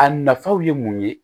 A nafaw ye mun ye